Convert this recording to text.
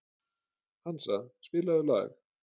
Hansa, spilaðu lag.